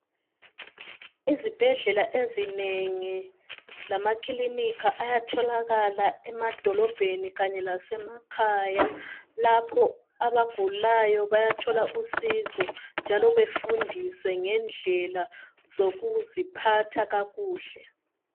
Izibhedlela ezinengi lamakilinika ayatholakala emadolobheni Kanye lasemakhaya. Lapho abagulayo bayathola usizo njalo bafundiswe ngendlela yokuziphatha kakuhle.